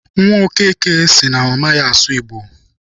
Nwa Okeke sị na ọ maghị asụ Igbo.